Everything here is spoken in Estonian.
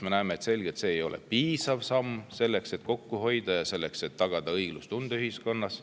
Me näeme selgelt, et see ei ole piisav samm selleks, et hoida kokku ja tagada õiglustunne ühiskonnas.